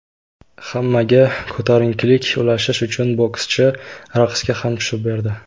Hammaga ko‘tarinkilik ulashish uchun bokschi raqsga ham tushib berdi.